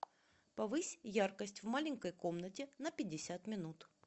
повысь яркость в маленькой комнате на пятьдесят минут